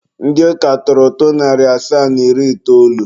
Ndị ụka tụrụ ụtụ narị asaa na iri itoolu.